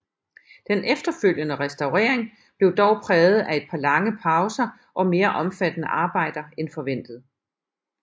Den efterfølgende restaurering blev dog præget af et par lange pauser og mere omfattende arbejder end forventet